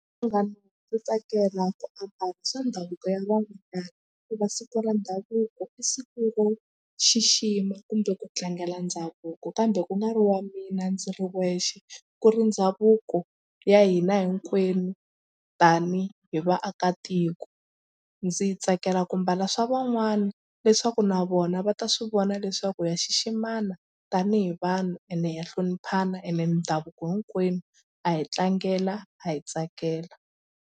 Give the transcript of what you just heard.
Munghana ndzi tsakela ku ambala swa ndhavuko ya van'wanyana hikuva siku ra ndhavuko i siku ro xixima kumbe ku tlangela ndhavuko kambe ku nga ri wa mina ndzi ri wexe ku ri ndhavuko ya hina hinkwenu tanihi vaakatiko. Ndzi yi tsakela ku mbala swa van'wana leswaku na vona va ta swi vona leswaku ya xiximana tanihi vanhu ende ha hloniphana ene ndhavuko hinkwenu ha yi tlangela ha yi tsakela.